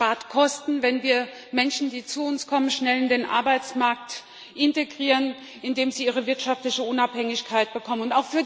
Es spart Kosten, wenn wir Menschen, die zu uns kommen, schnell in den Arbeitsmarkt integrieren, indem sie ihre wirtschaftliche Unabhängigkeit bekommen.